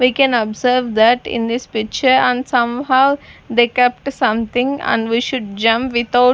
we can observe that in this picture and somehow they kept something and we should jump without--